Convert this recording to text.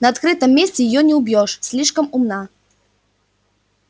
на открытом месте её не убьёшь слишком умна